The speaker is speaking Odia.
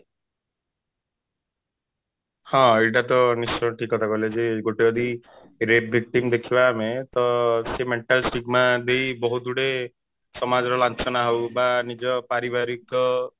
ହଁ ଏଇଟା ତ ନିଶ୍ଚୟ ଠିକ କଥା କହିଲେ ଯେ ଗୋଟେ ଯଦି rape victim ଦେଖିବା ଆମେ ତ ସେ mental stigma ଦେଇ ବହୁତ ଗୁଡେ ସମାଜର ଲାଞ୍ଛନା ହଉ ବା ନିଜ ପାରିବାରିକ